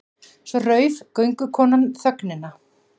Svo rauf göngukonan þögnina.